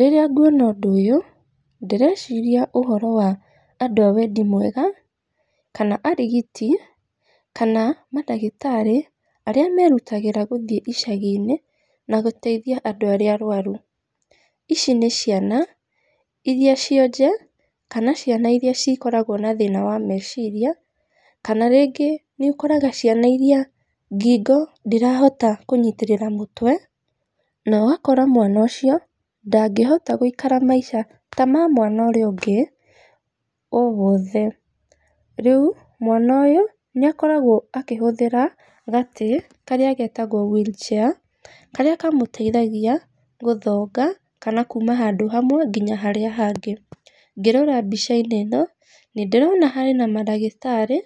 Rĩrĩa nguona ũndũ ũyũ, ndĩreciria ũhoro wa andũ a wendi mwega, kana arigiti, kana mandagĩtarĩ, arĩa merutagĩra gũthiĩ icagi-inĩ na gũteithia andũ arĩa arwaru, ici níciana iria cionje, kana ciana iria cikoragwo na thĩna wa meciria, kana rĩngĩ nĩ ũkoraga ciana iria ngingo ndĩrahota kũnyitĩrĩra mũtwe, nogakora mwana ũcio ndangĩhota gwĩikara maica ta ma mwana ũrĩa ũngĩ owothe, rĩu mwana ũyũ nĩ akoragwo akĩhũthĩra gatĩ karĩa getagwo wheel chair, karĩa kamũteithagia gũthonga, kana kuuma handũ hamwe nginya harĩa hangĩ, ngĩrora mbica-inĩ ĩno nĩ ndĩrona harĩ na mandagĩtarĩ,